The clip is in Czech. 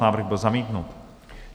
Návrh byl zamítnut.